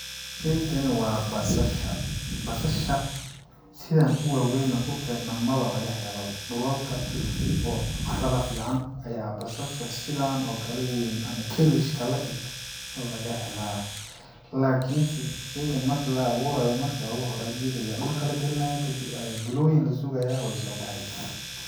Sheygani waa basasha basasha sidaan u waaweyn nah dhulkeena ma ba lagahelo bo dhulalka oo carada fican ayaa basasha sidaan oo kale u weyn ama cabbage ka la eg lagahelaa lakinse sheygani markii la aburayo marki oogu hore iyada ayaa dhulka lageli nayaa kadib ayaa ayaa bilooyin lasugayaa way sobexesaa.